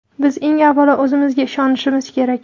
Biz eng avvalo o‘zimizga ishonimiz kerak.